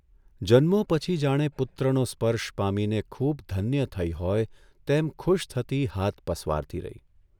જન્મો પછી જાણે પુત્રનો સ્પર્શ પામીને ખૂબ ધન્ય થઇ હોય તેમ ખુશ થતી હાથ પસવારતી રહી.